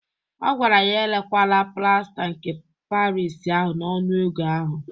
Ọ gwara ya erekwala plasta nke Paris ahụ n'ọnụ ego ahụ!